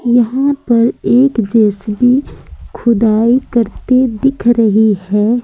यहां पर एक जे_सी_बी खुदाई करती दिख रही है।